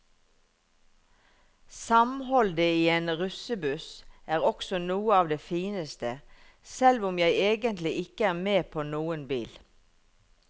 Samholdet i en russebuss er også noe av det fineste, selv om jeg egentlig ikke er med på noen bil.